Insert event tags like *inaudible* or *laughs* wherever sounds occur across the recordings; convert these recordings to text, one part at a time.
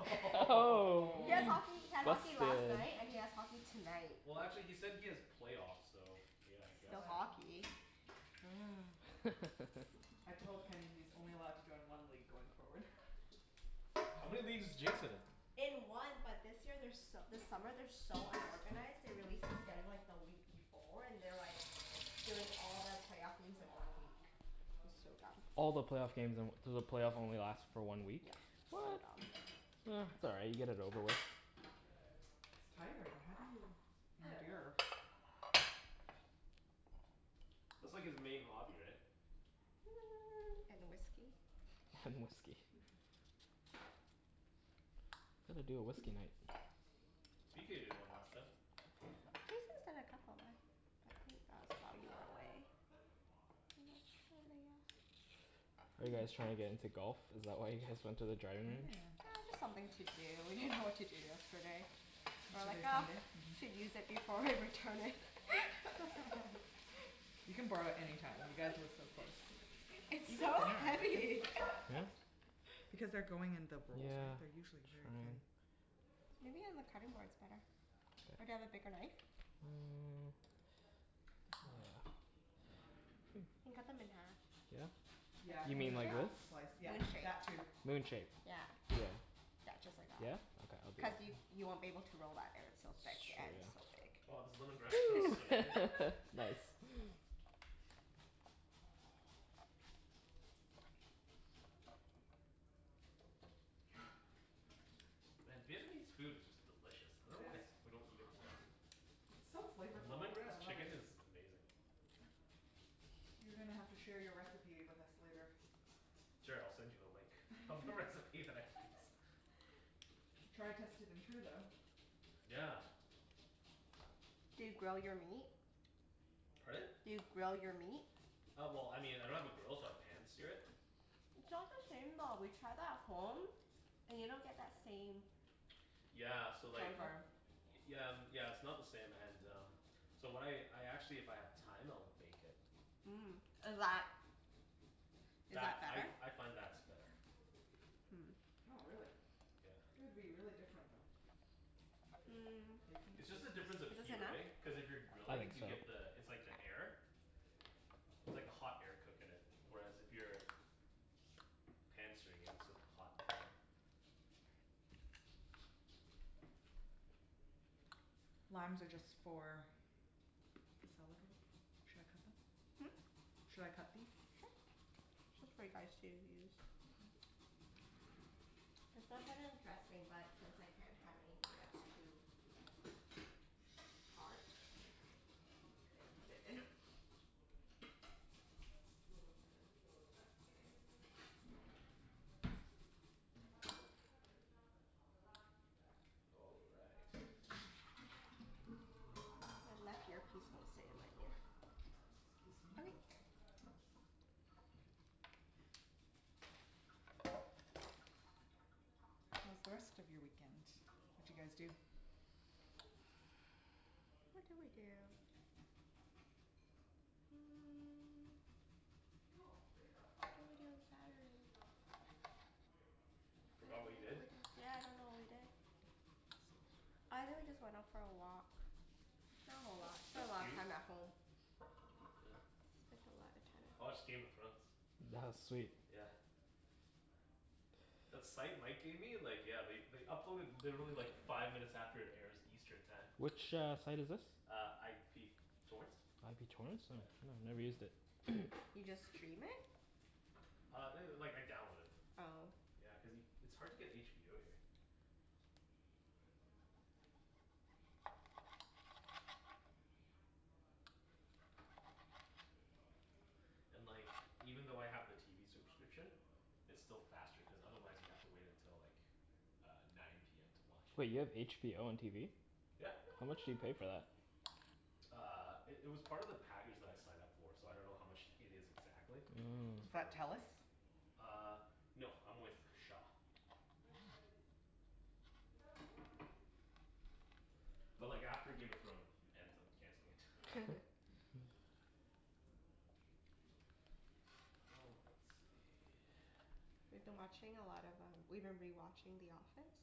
*laughs* Oh! He has *laughs* hockey, he had hockey Busted. last night and he Oh! has hockey tonight. Well actually he said he has playoffs so, yeah I guess Still Alright. so. Um. hockey. Mm. I *laughs* told Kenny he's only allowed to join one league going forward. *laughs* How many leagues is Jason in? In one but this year they're so this summer they are so unorganized, they released the schedule like the week before, and they're like doing all the playoff games in one week. It's so dumb All the playoff games in one so the playoff only last for one week? Yeah, so dumb. Um it's alright, you get it over with. It's tiring, how do you I dunno. endure. That's like his main hobby right? Hmm and whiskey. And whiskey. *laughs* We *inaudible* do a whiskey night. *inaudible* Jason's. *inaudible* Are you guys trying to get into golf? Is that why you guys went to the driving range? Yeah, Yeah. it's just something to do, we didn't know what to do yesterday. Well I Yesterday was thought Sunday? we should use it before we return it. *laughs* *laughs* You can borrow it anytime. You guys live so close. It's so Like heavy! *laughs* this? Because they're growing in the bowls, Yeah. they're usually That's very thin. right. Maybe on the cutting board it's better. Or do you have a bigger knife? Mmm *inaudible* You can cut them in half. Yeah? Yeah You *inaudible* mean the like half this? slice yeah, Moon shape. that too. Moon shape. Yeah. Yeah just like Yeah? that. Okay. I'll do Cuz you that. you won't be able to roll that if it's so That's thick yeah it's so true. thick. Wow I was a little. *inaudible* *inaudible* *laughs* *laughs* Nice. And Vietnamese food is just delicious. I It dunno is. why we don't eat it more often. It's so flavorful, I Lemongrass love it. chicken is amazing. You're gonna have to share your recipe with us later. Sure, I'll send you the link. *laughs* *inaudible* Try test it. *inaudible* Yeah. Do you grill your meat? Pardon? Do you grill your meat? Uh well I mean I don't have a grill but pan-sear it. It's not the same though, we tried that at home, and you don't get that same Yeah The so like charcoal? flavor Yeah, yeah it's not the same and um, so when I I actually if I have time I'll bake it. Mhm, is that is That, that I better? I find that's better. Hmm. Oh really? Yeah. Would be really different though. Mm. It's just the *inaudible* Is difference of this heat enough? right? Cuz if you're I grilling think you so. get the it's like the air. It's like hot air cookin it. Where as if you're pan-searing it, it's a hot pan. Limes are just for the salad bowl? Should I cut them? Hm? Should I cut these? Sure. *inaudible* Mhm. Cuz that kinda dressing but since I can't have anything that's too. *inaudible* *inaudible* put it in. All right. The left earpiece won't stay in my ear. Excuse me. Okay. How's the rest of your weekend? What d'you guys do? What did we do? Hmm. What did we do on Saturday? Forgot what you did? Yeah I don't remember what I did. I really just went out for a walk, spent a lot spent a lot of time at home. *inaudible* time I watched Game of at Thrones. home. That was sweet. Yeah. That site Mike gave me like yeah they they upload in literally like five minutes after it airs Eastern time. Which, uh, site is this? Uh, IP torrents. IP torrents? No, Yeah. no, never used it. You just stream it? Uh, it like I download it. Oh. Yeah, cuz it's hard to get HBO here. And like even though I have the TV subscription, it's still faster cuz otherwise you have to wait until like uh nine PM to watch Wait it. you have HBO on TV? Yeah. How much do you pay for that? Uh, it it was part of the package that I signed up for so I dunno how much it is exactly. It's Is Mmm. part of that the plan. Telus? Uh, no I'm with Shaw. *inaudible* But like after Game of Thrones ends, I'm canceling it. Oh, let's see We've been watching a lot of um, we've been rewatching The Office.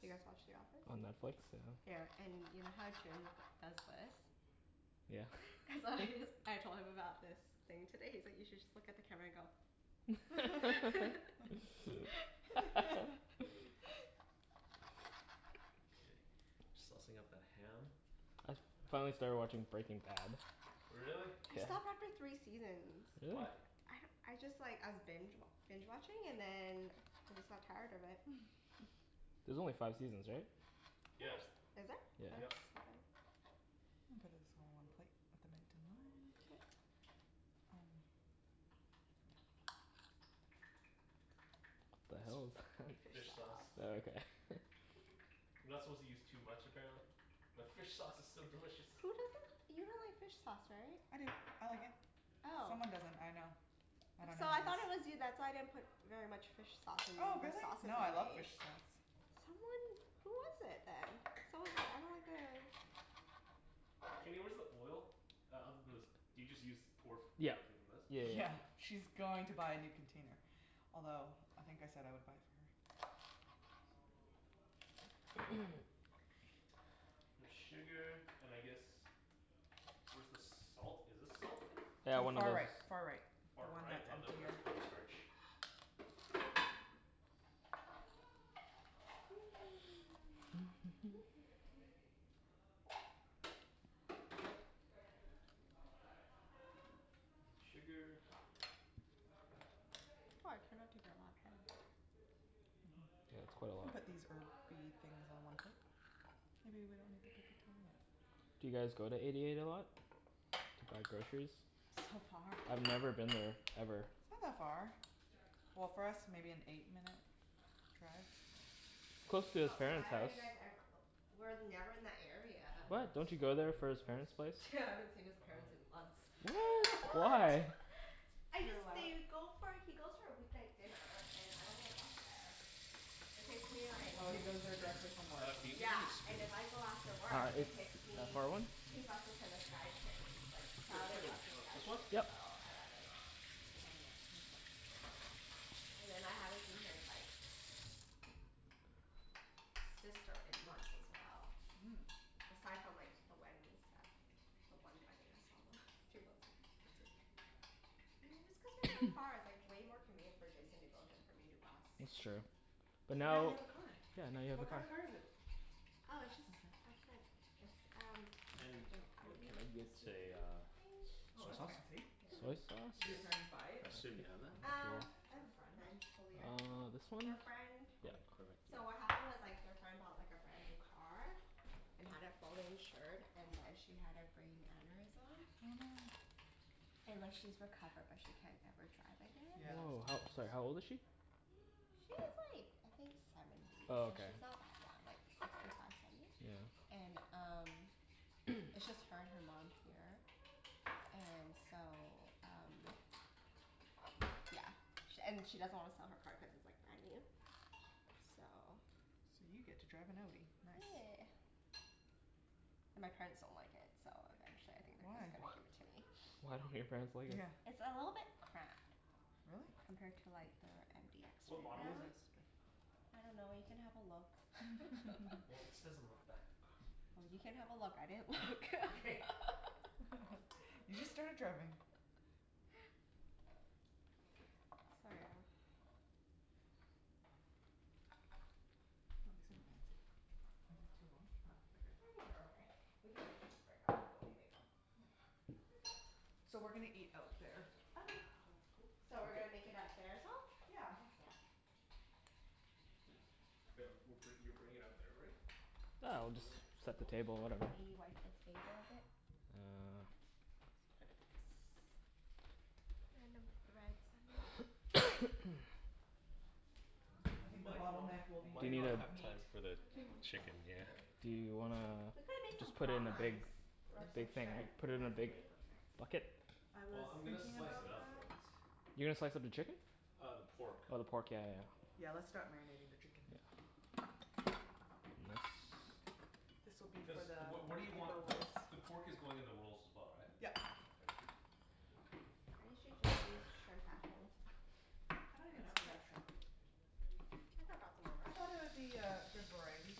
Do you guys watch The Office? On Netflix? Yeah. Yeah, and you know how Jimmy g- does this? Yeah? *laughs* So I just, I told him about this thing today, he's like, "You should just look at the camera and go" *laughs* *laughs* *laughs* Okay. Saucing up the ham I finally started watching Breaking Bad Really? I Yeah. stopped after three seasons. Why? Really? I don't, I just like, I was binge wa- binge watching, and then I just got tired of it. There's only five seasons, right? Oops! Yeah. Is it? I thought it was Yep. seven. I'll put this all in one plate, with the mint and lime. Um. The It's hell is that f- fish sauce. Oh, okay. You're not supposed to use too much, apparently. But fish sauce is so delicious. Who doesn't, you don't like fish sauce, right? I do, I like it. Oh. Someone doesn't, I know. I dunno So I who it is. thought it was you. That's why I didn't put very much fish sauce in Oh the really? sauces No I I love made. fish sauce. Someone, who was it then? Someone was like, I don't like it. Kenny, where's the oil? *inaudible* Do you just use pour f- Yeah directly from this? yeah yeah. Yeah, she's going to buy a new container, although I think I said I would buy it for her. Bit of sugar, and I guess, where's the salt, is this salt? Yeah, one of Far those right far right, the Far one right? that's Oh on no, that's *inaudible* corn starch. *noise* Need sugar. Why I cannot take that *inaudible* Mhm. Yeah, it's quite a We can lot put these herby things on one plate. Maybe we don't need to put the turnip. Do you guys go to Eighty eight a lot? To buy groceries? So far. I've never been there, ever. It's not that far. Well, for us maybe an eight minute drive. It's close to his But parents' why are house. you guys ever- w- we're never in that area. What? Don't you go there for his parents' place? Yeah, I haven't seen his parents in months. Why? What? *laughs* *laughs* I You're just allowed didn't go for, he goes for a weeknight dinner, and I don't wanna bus there. It takes me like Oh he goes there directly from work. Uh, can you give me a Yeah, and spoon? if I go after Uh, work it's it takes that me far one two buses and the Skytrain, like No, just like crowded a, bus and uh this one? Skytrain, Yep. so I rather not. Oh yeah, makes sense. And then I haven't seen his like, sister in months as well Mm. Aside from like the wedding and stuff. The one wedding I saw them, a few months ago. I see. Yeah, it's cuz they're so far. It's like way more convenient for Jason to go than for me to bus. That's true. But But now you now have a car! Yeah, now you have a What kind car. of car is it? Oh, it's just our friend, it's um Ken, like an you- can I Audi get a SUV, uh I Oh soy that's sauce? think? fancy. *laughs* Soy Did sauce? your parents buy it, I assume you have that? Um, off the friend? eventually, I Uh, dunno. this Their one? friend, Okay, so what perfect. happened was like their friend bought like a brand new car, and had it fully insured and then she had a brain aneurysm. Oh no. And like she's recovered but she can't ever drive again. Yeah that's Oh how, sorry, *inaudible* how old is she? She's like, I think seventy. Oh So okay. she's not that young, like sixty five, seventy? Yeah. And um, it's just her and her mom here, and so um yeah. She and she doesn't want to sell her car cuz it's like brand new. So. So you get to drive an Audi, nice. Yeah. And my parents don't like it so eventually I think they're Why? just gonna give it to me. Why don't your parents like it? Yeah. It's a little bit cramped. Really? Compared to like their MDX Yeah What right model is MDX it? now. is big. I dunno you can have a look *laughs* Well, it says on the back of car. Well, you can have a look I didn't look *laughs* Okay. *laughs* *laughs* You just started driving. So yeah. Ah these are fancy. Are these too long? Nope, I they're good. think they're okay. We can always just break up the bone when we make'em. Yeah. So we're gonna eat out there Okay. If that's cool? So we're gonna make it out there as well? Yeah, I think so. Wait, w- we're, you're bringing it out there already? Yo, Yeah, we'll do we just want, do we set the want the table, pork? whatever. Should we wipe the table a bit? Uh Yes. Random threads on there. I think the Might not, bottleneck will be Do you might need not the a have time meat. for the chicken, yeah. Do you wanna We could've made some just put it in a big, prawns or some big thing, right? shrimp, Put and it in a that's like big way quicker. bucket? I was Well, I'm gonna thinking slice it about up that. though. You're gonna slice up the chicken? Uh the pork. Oh the pork, yeah Yeah, yeah let's yeah. start marinating the chicken. This will be Cuz for the what, what do you want, paper the rolls. the pork is going in the rolls as well right? Yup. Okay. I usually just use shrimp at home. I don't even know if they have shrimp. I could've brought some over. I thought there would be a good variety.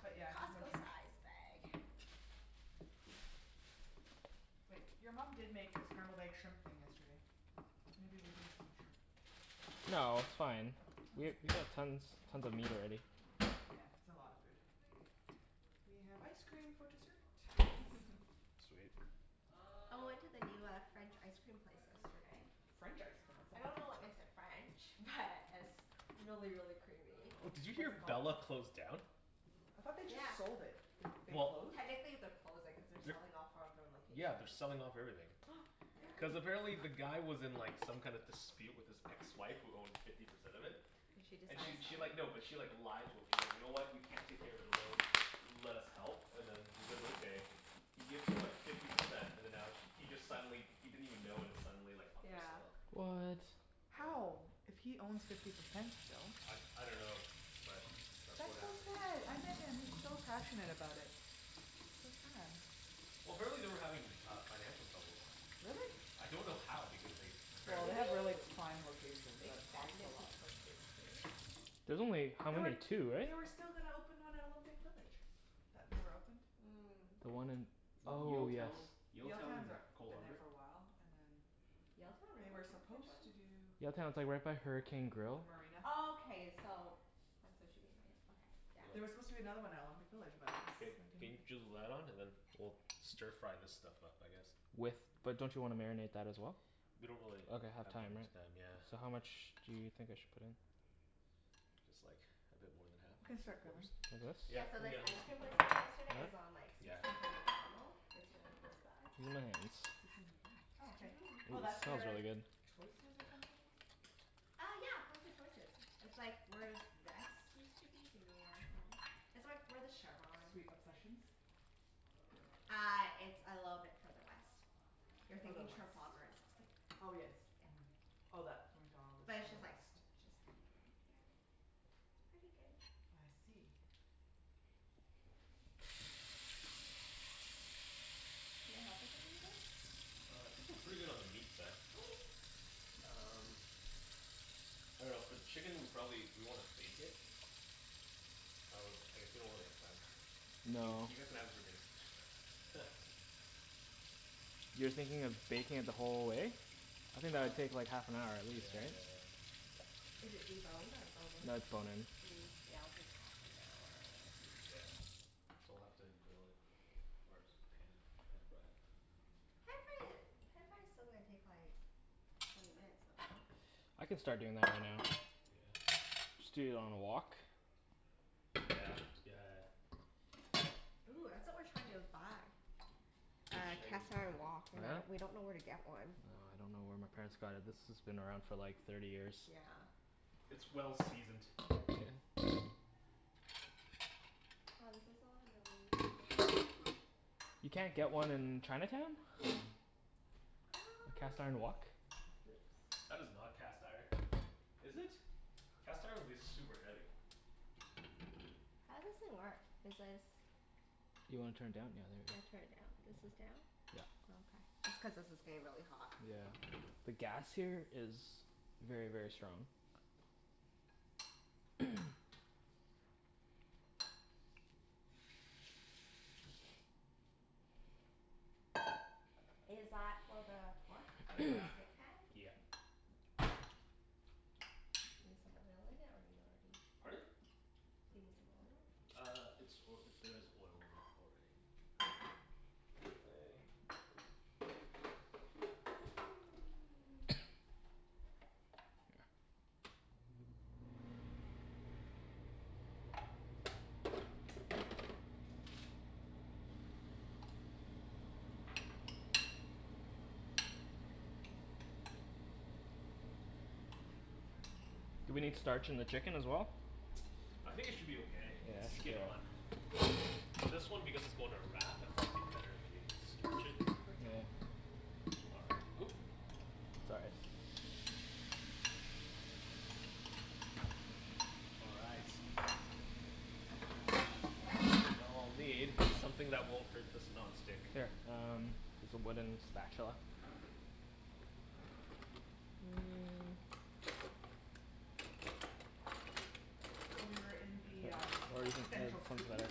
But yeah, no Costco shrimp. size bag. Wait, your mom did make a scrambled egg shrimp thing yesterday. Maybe we did have some shrimp. No, it's fine. We Okay. have, we got tons, tons of meat already. Yeah it's a lot of food. We have ice cream for dessert. Sweet. I went to the new uh, French ice cream place yesterday. French icecream, what's I that? dunno what makes it French, but it's really really creamy. Did you What's hear it called? Bella closed down? I thought they just Yeah. sold it. They they Well. closed? Technically they're closing cuz they're selling off four of their Yeah, they're locations. selling off everything. *noise* Yeah. No Cuz way. apparently the guy was in like some kind of dispute with his ex-wife who owned fifty percent of it. And she And she decides to she sell like, it? no, but she like, lied to him. She's like, "You know what, you can't take care of the it alone, let us help" and then he's like, "Okay." He gives her like fifty percent and then now sh- he just suddenly he didn't even know when it's suddenly like up for Yeah. sale. What? How! If he owns fifty percent still. I, I dunno, but that's what That's so happened. sad! I met him he's so passionate about it. That's sad. Well, apparently they were having uh financial troubles. Really? I don't know how because they Well they apparently Maybe have really prime locations they so it's cost a expanded too lot. quickly, too. There's only, how They were many, two, right? they were still gonna open one at Olympic village that never opened. Mm. The one in, oh yes Yaletown, Yaletown, Yaletown, they're, coal been there harbour. for a while and then Yaletown, They really? were supposed *inaudible* to do Yaletown, it's like right by Hurricane The Grill marina. Oh, okay so that's what she mean by it, okay, There were supposed to be yeah. another one out in Olympic Village but Ken, it can you drew the light on and then was *inaudible* we'll stir fry this stuff up I guess. With, but don't you wanna marinate that as well? We don't really Ok, have have that time right? much time yeah. So how much do you think I should put in? Just like a bit more than half, We can like three start grilling. quarters. Like Yeah, Yeah, so this this? ice let's cream keep place we it. went to yesterday is on like Yeah. sixteenth and Macdonald. It's really close by. Sixteenth avenue, oh okay. Oh It that's Mhm. smells where really good. Choices or something was? Uh yeah! Close to Choices. It's like where Zest used to be, you know where that is? It's where where the Chevron Sweet Obsessions? Uh, it's a little bit further west. You're Further thinking west. Trafalgar and sixteenth. Oh yes, mhm. Yeah. Oh that *inaudible* But to it's the just like, west. just. *inaudible* It's pretty good. I see. Can I help with anything? Uh, I think we're pretty good on the meat side. Okay! Um, I dunno for the chicken we probably, do we wanna bake it? I w- I guess we don't really have time. You No. guys can have it for dinner. *laughs* You're thinking of baking it the whole way? I think that would take like half an hour at Yeah, least, right? yeah, yeah. Is it deboned or bone-in? No, it's bone-in. Hm, yeah, it'll take half an hour, I think. Yeah. So we'll have to grill it first. Pan pan-fry it. pan-frying it, pan-frying it's still gonna take like twenty minutes, I dunno. I can start doing that right now. Yeah. Just do it on a wok. Yeah, yeah, yeah. Ooh, that's what we were trying to buy. Uh cast Chinese iron Oh wok? wok. We're not, we dunno where to really? get one. Well, I dunno where my parents got it. This has been around for like thirty years. Yeah. It's well-seasoned. Ah, this is so yummy. You can't get one in Chinatown? Uh. A cast iron wok? That is not cast iron. Is it? Cast iron would be super heavy. How's this thing work? Is this Do you wanna turn it down? How Yeah, do I turn there it down? you go. This is Yeah down? Oh okay. It's cuz this is getting really hot. Yeah. The gas here is very very strong. Is that for the pork, the non-stick pan? Yeah. Yep Do you need some oil in it or you already Pardon? Do you need some oil? Uh, it's oil, there is oil in it already. *noise* Do we need starch in the chicken as well? I think it should be okay, it's skin-on. Well, this one because it's going in a wrap I thought it would be better if we starch it? Paper towel. All right, oop! All right, Just gonna dry the lettuce in. *inaudible* now I'll need Oops. something that won't hurt this non-stick. Here, um, it's a wooden spatula So we were in the um central Kootenays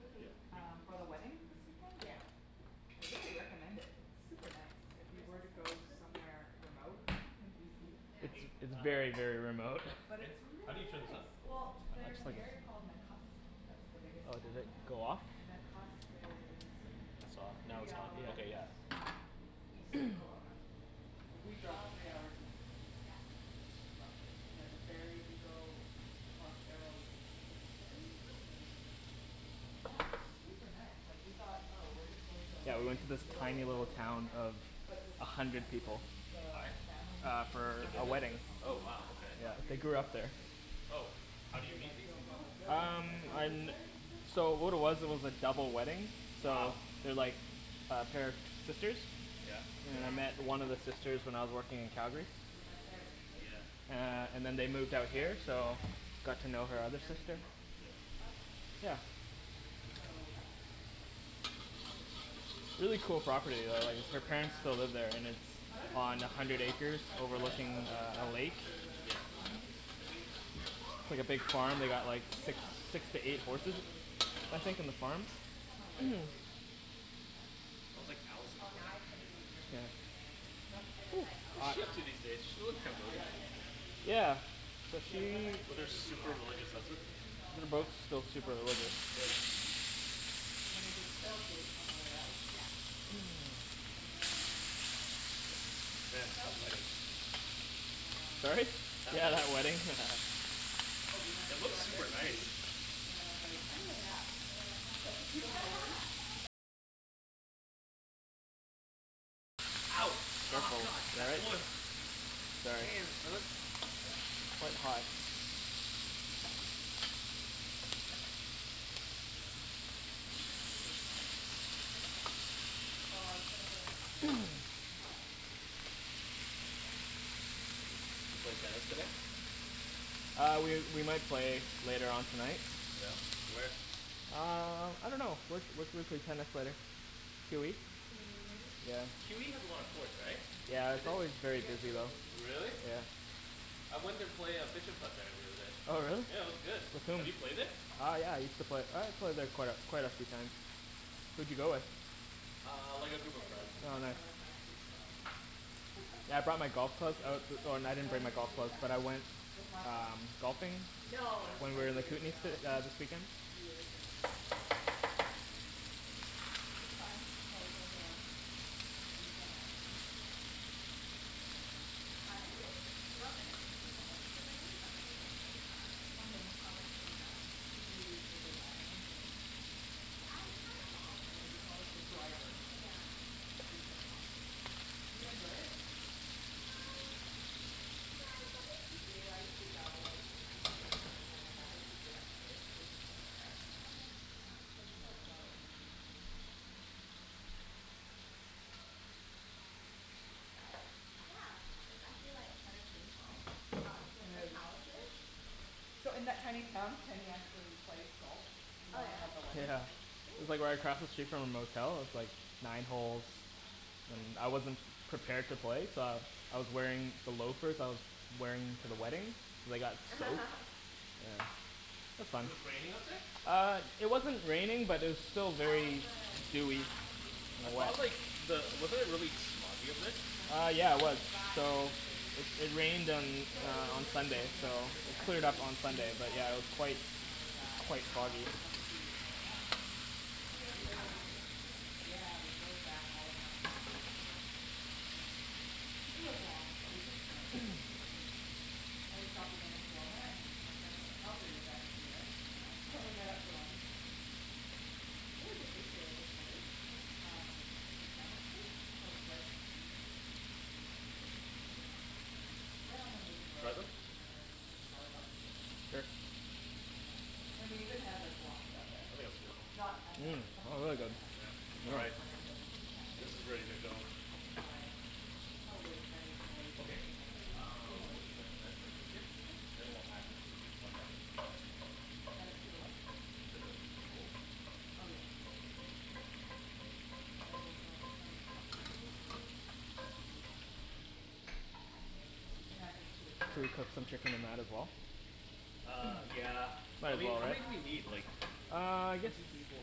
Mhm. Um for the wedding this weekend Yeah. and I really recommend it, it's super nice, if you Where's were to go that *inaudible* Kootenays? somewhere remote in BC. It's very, very remote. Hey, But Ken? it's How do really you turn this nice! up? Well, there's an area called Nakusp, that's the biggest Oh did town it there. go off? Nakusp is It's off, now three it's on. Ok hours yeah. east of Kelowna. We Oh drove three okay. hours east of Kel- Yeah. Kelowna Roughly. And there's a ferry you go across Arrow Lake with the ferry Oh! and then. Yeah, it's super nice. Like we thought oh we're just going to a Yeah, we went wedding to in the this middle of tiny little nowhere. town of But it Yeah. was a so hundred nice, like people. the Why? family has Uh, like a for hundred a wedding. acre Oh property wow, okay. They bought They years grew ago up there. and they, Oh, how do you they meet like these built all the people? buildings, Um, like houses on, there and stuff, so what it was, it really was a cool. double wedding, Cool. so Wow. They're like a pair of sisters Yeah. Did you And I guys met end one up of at the Mission sisters hill? when I was working in Yes, Calgary we went there initially, Yeah. Uh before and then staying they there moved out Yeah, we here stayed Yeah. one so night with, got to know her through other sister, Airbnb. Oh, okay. yeah. So that was really nice. And I definitely Really cool property though drank like her really parents fast. still live there, and it's *laughs* I dunno if you on a remember hundred your acres *inaudible* I overlooking was like a, a done lake. after the wine tasting tour. *laughs* Who It's is like a big farm, they got like six, Yeah, it six to eight added horses, up really *inaudible* quickly. I think, on the farm. Wow. I think i'm a lighter weight then. I was like. *inaudible* Oh, now I can't even drink Yeah. during the day. No? And it's like, I'll What's Headache? she up try. to these days, she looks. Yeah. Yeah I got a headache right away. *inaudible* *inaudible* Yeah, but Yeah we she- went back to the Well, they're airbnb super after religious. we did Mission Hill lunch *inaudible* plus the wine tasting, and then we did Quail Gate on our way out. Yeah. And then Man, that wedding. um, what Sorry? did Yeah, the wedding. we do. Oh we went It to looks our super nice. Airbnb, and then I was like I need a nap, and then I passed out for two hours Ouch! Oh Careful. god! That oil. *inaudible* Sorry. Damn, son. It's quite hot. You think this is a good size? *inaudible* Oh I was gonna put in the spring roll. Oh, okay. We don't need that much. Did you play tennis today? Uh we we might play later on tonight. Yeah? Where? Uh, I dunno. Where where should we play tennis later? QE? QE has a lot of courts, right? Yeah. It's always very busy though. Really? Yeah. I went and play uh *inaudible* there the other day. Oh really? Yeah, it was good. Have you played it? Uh yeah, I used to play, I played there quite a, quite a few times. Who'd you go with? Uh, like a I group of played like friends. *inaudible* Oh nice. once. I was too slow. Yeah, I brought *laughs* my golf clubs, I was, oh well I *laughs* didn't bring When my did you golf do clubs but that? I went With Michael? um, golfing No, this when was we were like in the years Kootenays ago. s- uh this weekend. Years and years ago. It's fun. Like there's a, a weekend activity. Yeah. Like surprisingly, you don't think sixty balls's too many but it like gets so tiring. Oh yeah? I was like, so done. Did you use the big iron the I tried them The all what pretty do much. you call it, the driver rather. Yeah. Oh you tried em all. Do you enjoy it? Uh, yeah, it's something to do. I used to go like in highschool, like when we had nothing to do at night, we'd just go there. Oh yeah. Yeah, but it's so close. But, yeah. It's actually like kinda painful. I got two of my calluses. So in that tiny town, Kenny actually plays golf In the Oh morning yeah? of the wedding. Yeah, It was Cool! like right across the street from our motel, with like nine holes, and I wasn't prepared to play so I, I was wearing the loafers that I was wearing to the wedding, and they got soaked, *laughs* yeah, it was It fun. was raining up there? Uh, it wasn't raining but it was still How was very the dewy drive? I and thought wet. of like, the, *inaudible* wasn't it really smoggy up there? Uh yeah it was. So it it rained on So it was uh on really Sunday smoky so, on our way it there cleared But up it was on Hmm. Sunday but beautiful yeah it was quite yesterday on our way back. quite Oh, foggy. we got to see all the mountains, Oh, you guys just got lakes. back yesterday. Yeah, we drove back all in one shot Oh wow. yesterday. Yeah, it was long but we took turns so Yeah. it was okay. And we stopped again in Kelowna and my friend from Calgary was actually there Oh okay. So we met up for lunch. Really good bakery I discovered. Yeah? Um, like a sandwich place, called Bread Company? Delicious. Where's that? Right on the main Try road them? near the Starbucks I think, Here. yeah. And we even had like, Laksa there. Cool! Not at that Mm. Bread That's Company really but good. Yeah, a, all another right. random This cafe is ready to go. owned by probably Chinese Malaysians, Okay, who had a few uh, where Malaysian should I, dishes. should I plate this here? Sure. Then we'll add this to the. *inaudible* Add it to the what? To the, the rolls? Oh yes. I will grab some cutlery, I can set the table as well. Oh we can add this to the Should carrot we put plate. some chicken in that as well? Uh, yeah. Well, we need, how many do we Uh, we need need like, some plates. one two three four